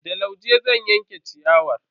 Da lauje zan yanka ciyawar.